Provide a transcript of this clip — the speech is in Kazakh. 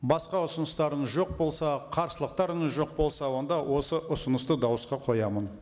басқа ұсыныстарыңыз жоқ болса қарсылықтарыңыз жоқ болса онда осы ұсынысты дауысқа қоямын